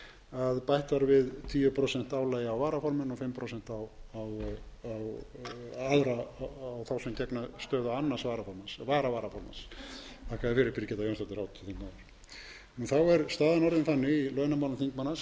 að bætt var við tíu prósent álagi á varaformenn og fimm prósent á þá sem gegna stöðu annars varaformanns vara varaformanns þakka þér fyrir birgitta jónsdóttir háttvirts þingmanns þá er staðan orðin þannig í launamálum þingmanna sem átti sem